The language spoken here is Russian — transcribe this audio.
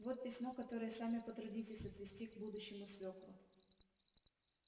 вот письмо которое сами потрудитесь отвезти к будущему свёкру